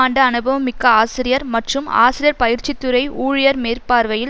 ஆண்டு அனுபவம் மிக்க ஆசிரியர் மற்றும் ஆசிரியர் பயிற்சித் துறை ஊழியர் மேற்பார்வையில்